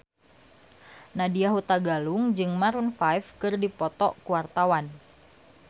Nadya Hutagalung jeung Maroon 5 keur dipoto ku wartawan